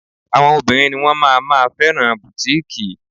Àwọn obìnrin ni wón máa ma fẹ́ràn bùtíkìì.